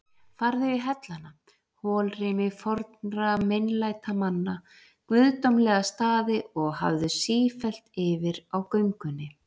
Farðu í hellana, holrými fornra meinlætamanna, guðdómlega staði, og hafðu sífellt yfir á göngunni